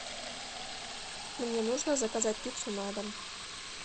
мне нужно заказать пиццу на дом